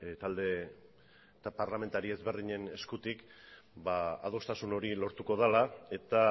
talde parlamentario ezberdinen eskutik adostasun hori lortuko dela eta